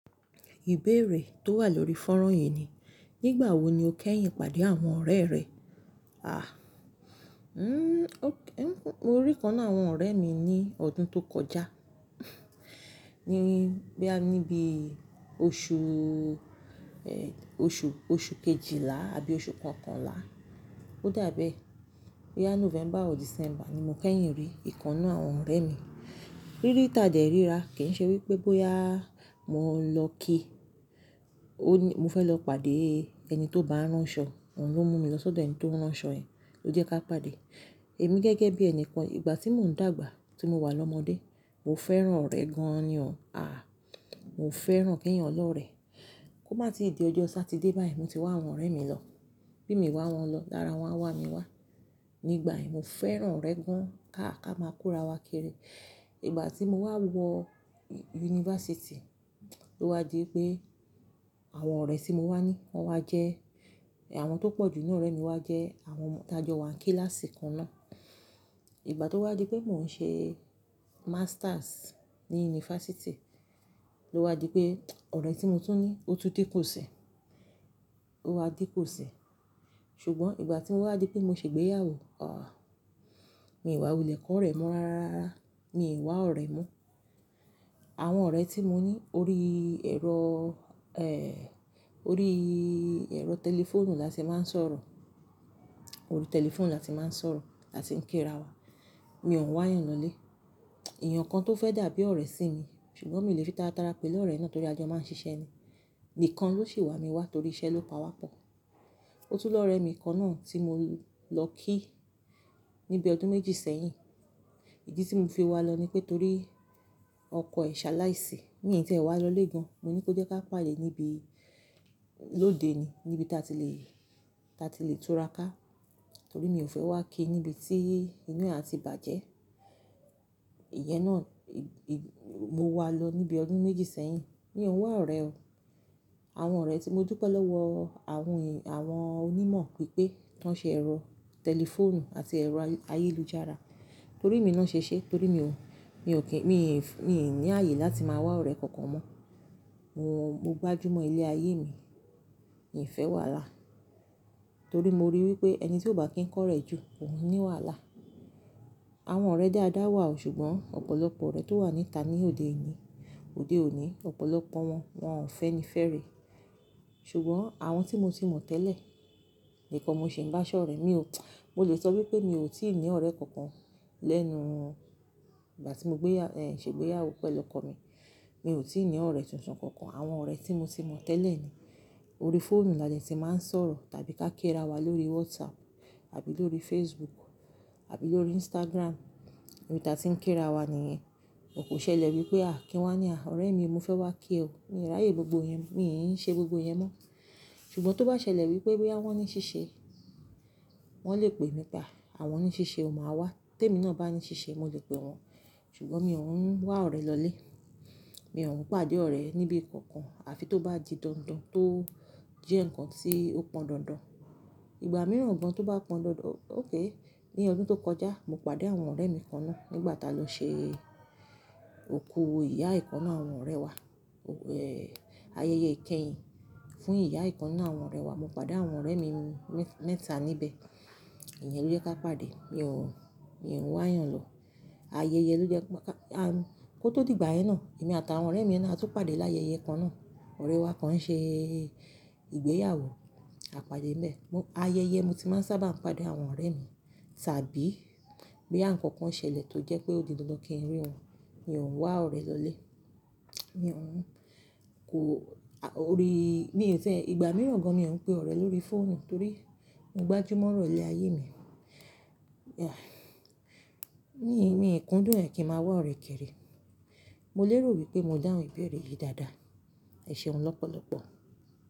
Ìbéèrè tó wà lórí fónrán yìí ni, nígbàwo ni o kẹ́yìn pàdé àwọn ọ̀rẹ́ rẹ? Mo rí ìkan nínú àwọn ọ̀rẹ́ mi ní ọdún tó kọjá. Níbi oṣù, oṣù, oṣù kejìlá àbí oṣù kọkànlá. Ó dàbẹ́ boya November or December ni mo kẹ́yìn rí ìkan nu àwọn ọ̀rẹ́ mi. Rí rí tà dé rí ra. Kì í ṣe wípé bóyá mo ń lọ kí-- mo fẹ́ lọ pàdé ẹni tó bá rán ṣọ, òun ló mú mi lọ sọ́dọ̀ ẹni tó rán aṣọ yẹn, ló jẹ́ ká pàdé. Èmi gẹ́gẹ́ bí ẹni kan ìgbà tí mò ń dàgbà, tí mo wà lọ́mọdé, mo fẹ́ràn ọ̀rẹ́ gan-an ni o. Mo fẹ́ràn kẹ́yan lọ́rẹ. Kó má tíì dí ọjọ́ Saturday bá yìí mo ti wá àwọn ọ̀rẹ́ mi lọ. Bí mi wá wọn lọ, lára wọn á wá mi wá. Nígbà yen mo fẹ́ràn ọ̀rẹ́ gan-an. Ká à ká máa kórawá kiri. Ìgbà tí mo wá wọ yunifásítì, ló wá di pé àwọn ọ̀rẹ́ tí mo wá ní, wọ́n wá jẹ́, àwọn tó pọ̀jù ní ọ̀rẹ́ mi wá jẹ́ àwọn ọmọ ta jọ wá kíláàsì kan náà. Ìgbà tó wá di pé mò ń ṣe masters ní yunifásítì, ló wá di pé ọ̀rẹ́ tí mo tún ní, ó tú dí ku si, ó wá di ku si Ṣùgbọ́n ìgbà tí mó wá di pé mo ṣe ìgbéyàwó, Mi wá wulẹ̀ kọ́ ọ̀rẹ́ mọ́ rárá, mi wá ọ̀rẹ́ mọ́. Àwọn ọ̀rẹ́ tí mo ní, orí ẹ̀rọ, orí ẹ̀rọ tẹlifóònù la ti máa ń sọ̀rọ̀. Orí tẹlifóònù la ti máa ń sọ̀rọ̀, la ti ń kírawá. Mi ò wá yan lọlé. Eyàn kan tó fẹ́ dàbí ọ̀rẹ́ sì mi, ṣùgbọ́n mi ò lè fi táratára pè lọ̀rẹ́ náà torí a jọ máa ń ṣiṣẹ́ ni. Nìkan ló sì wá mi wá torí iṣẹ́ ló pa wá pọ̀. Ó tún lọ́rẹ́ mi kàn na tí mo lọ kí níbi ọdún méjì sẹ́yìn. Ìdí tí mò ń fi wá lọ ní pé torí ọkọ ẹ̀ ṣaláì sì. Mí tí ẹ wá lọlé gan. Mo ní kí ó jẹ́ ká pàdé níbi lóde ni, níbi ta ti lè, ta ti lè tura ká. Torí mi ò fẹ́ wá kí níbi tí inú à ti bàjẹ́. Ìyẹn náà, mo wá lọ níbi ọdún méjì sẹ́yìn. Mi ò ń wá ọ̀rẹ́ o. Àwọn ọ̀rẹ́ tí mo dúpẹ́ lọ́wọ́ àwọn, àwọn onímọ̀ pé pé tan ṣe ẹ̀rọ tẹlifóònù àti ẹ̀rọ ayélujára. Torí mi náà ṣe ṣé, torí mi ò, mi ò kí, mi, mi ò ní ààyè láti máa wá ọ̀rẹ́ kankan mọ́. Mo gbájú mọ́ ilé ayé mi, mi fẹ́ wà lá. Torí mo ríi wípé ẹni tí ó bá kín kọ́rẹ́ jù, kòun ni wàhálà. Àwọn ọ̀rẹ́ dáadáa wà o ṣùgbọ́n ọ̀pọ̀lọpọ̀ ọ̀rẹ́ tó wà níta ní òde yìí, òde òní, ọ̀pọ̀lọpọ̀ wọn, wọn ò fẹ́ni fẹ́rẹ̀ẹ́. Ṣùgbọ́n àwọn tí mo ti mọ̀ tẹ́lẹ̀, nìkan mo sì ń bá ṣọ̀rẹ́. Mi ò, mo lè sọ wípé mi ò tíì ní ọ̀rẹ́ kankan lẹ́nu ìgbà tí mo gbéyà, ṣe ìgbéyàwó pẹ̀lú ọkọ mi. Mi ò tíì ní ọ̀rẹ́ tuntun kankan. Àwọn ọ̀rẹ́ tí mo ti mọ̀ tẹ́lẹ̀ ni. Orí fóònù la de ti máa ń sọ̀rọ̀ tàbí ká kírawá lórí WhatsApp àbí lórí Facebook àbí lórí Instagram. Níì ta tí ń kírawá nìyẹn. Kò ṣẹlẹ̀ wípé a kí wá ní, Ọ̀rẹ́ mi mo fẹ́ wá kí ẹ o." Mi ò ráyè gbogbo ìyẹn, mi ń ṣe gbogbo ìyẹn mọ́. Ṣùgbọ́n tó bá ṣẹlẹ̀ wípé bóyá wọn ní ṣíṣe, wọ́n lè pè mí pé. Àwọn ní ṣíṣe o máa wá." Tẹ́mi náà bá ní ṣíṣe mo lè pè wọn. Ṣùgbọ́n mi ò hun wá ọ̀rẹ́ lọlé. Mi ò hun pàdé ọ̀rẹ́ níbi kankan àfi tó bá di dandan tó jẹ́ ǹkan tí ó pọn dandan. Ìgbà mìíràn gan tó bá pọn dandan-- okay, ní ọdún tó kọjá mo pàdé àwọn ọ̀rẹ́ mi kaana nígbà tá lọ ṣe òkú ìyá ìkan nínú àwọn ọ̀rẹ́ wa. Ayẹyẹ ìkẹyìn fún ìyá ìkan nu àwọn ọ̀rẹ́ wa. Mo pàdé àwọn ọ̀rẹ́ mi mẹ́ta níbẹ̀. Ìyẹn ló jẹ́ ká pàdé. Mi ò, mi ò wá yan lọ. Ayẹyẹ ló jẹ́ ká, kó tó di ìgbà yẹn náà, èmi àtàwọn ọ̀rẹ́ mi náà a tún pàdé láyẹyẹ kan náà. Ọ̀rẹ́ wa kan ń ṣe ìgbéyàwó, a pàdé nbẹ̀, ayẹyẹ mo ti máa ń sábà pàdé àwọn ọ̀rẹ́ mi. Tàbí bóyá ǹkankan ṣẹlẹ̀ tó jẹ́ pé ó di dandan kí n rí wọn, mi ò ń wá ọ̀rẹ́ lọlé. Mi ò hun kò, orí, mi ò tí e-- ìgbà mìíràn gan mi ò hun pé ọ̀rẹ́ lórí fóònù torí mo gbájúmọ̀ ọ̀rọ̀ ilé ayé mi. Mí, míì kúndùn ẹ́ kí n máa wá ọ̀rẹ́ kiri. Mo lérò wípé mo dáhùn ìbéèrè yìí dáadáa. Eṣẹ̀un lọ́pọ̀lọ́pọ̀.